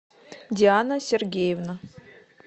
диана сергеевна